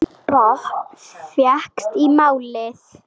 Enginn botn fékkst í málið.